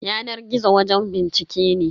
Yanar gizo wajen bincike ne.